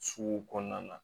Sugu kɔnɔna na